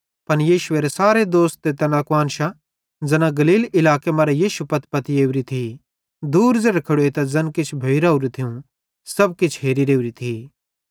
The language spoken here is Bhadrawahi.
पन यीशुएरे सारे दोस्त ते तैना कुआन्शां ज़ैना गलील इलाके मरां यीशुए पत्पती ओरी थी दूर ज़ेरे खेड़ोइतां ज़ैन किछ भोइ रावरू थियूं सब किछ हेरी रेवरी थी